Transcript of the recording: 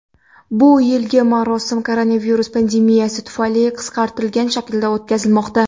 Bu yilgi marosim koronavirus pandemiyasi tufayli qisqartirilgan shaklda o‘tkazilmoqda.